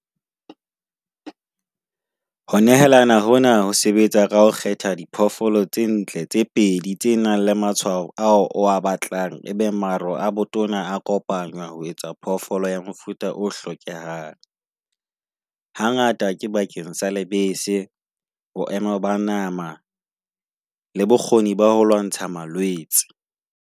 Ho nehelana hona ho sebetsa ka ho kgetha diphoofolo tse ntle tse pedi, tse nang le matshwao ao o batlang. Ebe maro a botona a kopana ho etsa phoofolo ya mofuta o hlokehang. Hangata ke bakeng sa lebese, ho ema ba nama le bokgoni ba ho lwantsha malwetse.